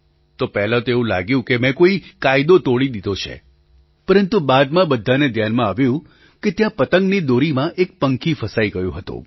તો પહેલાં તો એવું લાગ્યું કે મેં કોઈ કાયદો તોડી દીધો છે પરંતુ બાદમાં બધાને ધ્યાનમાં આવ્યું કે ત્યાં પતંગની દોરીમાં એક પંખી ફસાઈ ગયું હતું